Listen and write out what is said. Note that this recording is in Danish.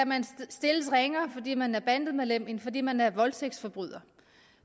man skal stilles ringere fordi man er bandemedlem end fordi man er voldtægtsforbryder